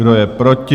Kdo je proti?